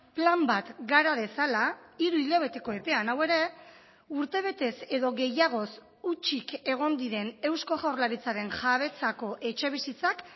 plan bat gara dezala hiru hilabeteko epean hau ere urtebetez edo gehiagoz hutsik egon diren eusko jaurlaritzaren jabetzako etxebizitzak